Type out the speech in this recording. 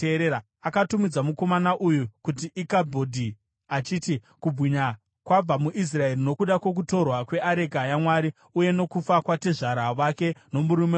Akatumidza mukomana uyu kuti Ikabhodhi, achiti, “Kubwinya kwabva muIsraeri,” nokuda kwokutorwa kweareka yaMwari uye nokufa kwatezvara vake nomurume wake.